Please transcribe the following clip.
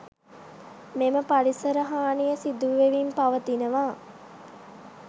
මෙම පරිසර හානිය සිදුවෙමින් පවතිනවා.